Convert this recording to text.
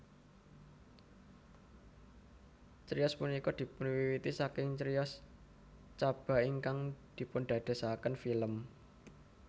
Criyos punika dipunwiwiti saking criyos Chaba ingkang dipundadosaken film